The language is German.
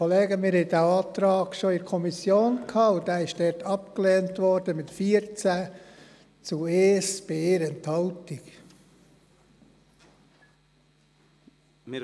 der SiK. Dieser Antrag lag bereits der Kommission vor und wurde dort mit 14 Stimmen zu 1 Gegenstimme bei 1 Enthaltung abgelehnt.